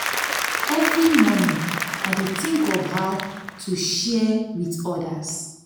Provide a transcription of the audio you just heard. every morning i dey think of how to share to share with others.